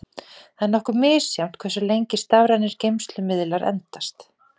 Það er nokkuð misjafnt hversu lengi stafrænir geymslumiðlar endast.